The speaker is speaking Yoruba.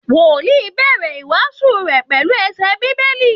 Wòlí ń bẹ̀rẹ̀ ìwásùú rẹ̀ pẹ̀lú ẹsẹ bíbélì